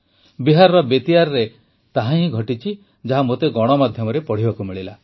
ବିହାରର ବେତିଆରେ ତାହାହିଁ ଘଟିଛି ଯାହା ମୋତେ ଗଣମାଧ୍ୟମରେ ପଢ଼ିବାକୁ ମିଳିଲା